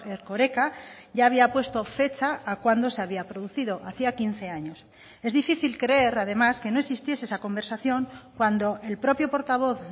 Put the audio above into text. erkoreka ya había puesto fecha a cuándo se había producido hacía quince años es difícil creer además que no existiese esa conversación cuando el propio portavoz